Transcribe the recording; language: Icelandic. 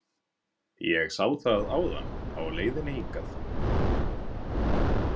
Ég sá það áðan á leiðinni hingað.